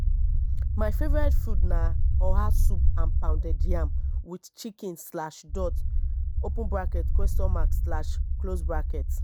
my favorite food na oha soup and pounded yam with chicken slash dot open bracket question mark slash close bracket